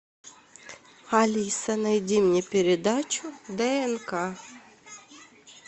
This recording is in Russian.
алиса найди мне передачу днк